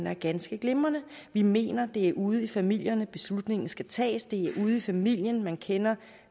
er ganske glimrende vi mener det er ude i familien beslutningen skal tages det er ude i familien man kender